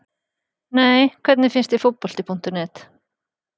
Nei Hvernig finnst þér Fótbolti.net?